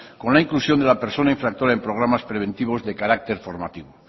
con la inclusión de la persona infractora en programas preventivos de carácter formativo